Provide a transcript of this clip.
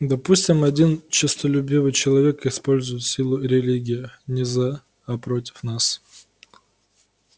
допустим один честолюбивый человек использует силу религии не за а против нас